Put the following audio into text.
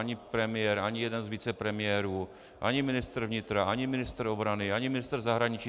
Ani premiér, ani jeden z vicepremiérů, ani ministr vnitra, ani ministr obrany, ani ministr zahraničí.